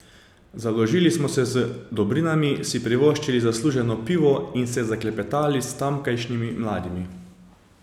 Založili smo se z dobrinami, si privoščili zasluženo pivo in se zaklepetali s tamkajšnjimi mladimi.